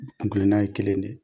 Kunkilenna ye kelen de ye.